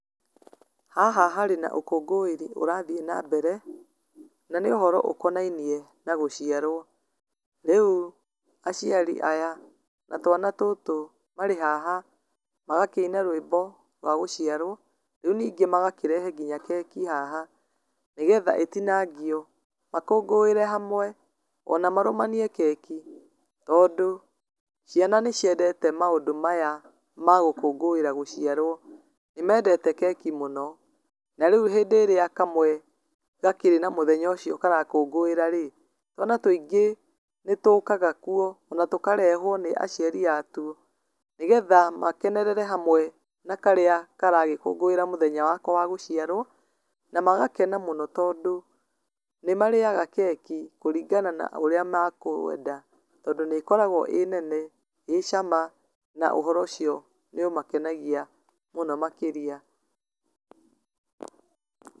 Haha harĩ na ũkũngũĩri ũrathiĩ na mbere, na nĩũhoro ũkonainie na gũciarwo rĩu aciari aya na twana tũtũ marĩ haha magakĩina rwĩmbo rwa gũciarwo rĩu ningĩ magakĩrehe nginya keki haha, nĩgetha ĩtinangio makũngũĩre hamwe ona marũmanie keki, tondũ ciana nĩciendete maũndũ maya ma gũkũngũĩra gũciarwo nĩmendete keki mũno na rĩu hĩndĩ ĩrĩa kamwe gakĩrĩ na mũthenya ũcio karakũngũĩra rĩ twana tũingĩ nĩtũũkaga kuo ona tũkarehwo nĩ aciari atuo nĩgetha makenerere hamwe na karĩa karagĩkũngũĩra mũthenya wako wa gũciarwo na magakena mũno tondũ nĩmarĩaga keki kũringana na ũrĩa makũenda tondũ nĩĩkoragwo ĩ nene ĩ cama na ũhoro ũcio nĩũmakenagia mũno makĩria.